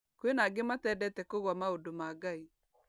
Kwĩna angĩ matendete kũgwa maũndũ ma Ngai.